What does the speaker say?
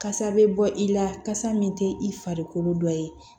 Kasa bɛ bɔ i la kasa min tɛ i farikolo dɔ ye